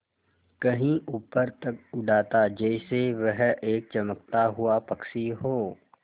कहीं ऊपर तक उड़ाता जैसे वह एक चमकता हुआ पक्षी हो